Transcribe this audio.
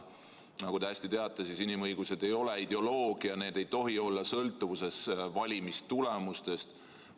Nagu te hästi teate, inimõigused ei ole ideoloogia, need ei tohi olla sõltuvuses valimistulemustest.